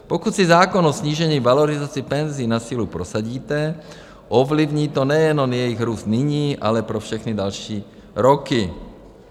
Pokud si zákon o snížení valorizace penzí na sílu prosadíte, ovlivní to nejenom jejich růst nyní, ale pro všechny další roky.